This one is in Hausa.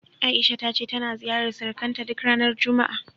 A'isha ta ce tana ziyarar surukanta duk ranar juma'a.